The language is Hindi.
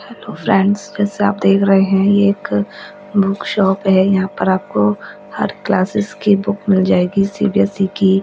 हेलो फ्रेंड्स जैसे आप देख रहे हैं यह एक बुक शॉप है यहां पर आपको हर क्लासेस की बुक मिल जाएगी सी_बी_एस_सी की--